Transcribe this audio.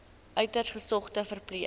uiters gesogde verpleër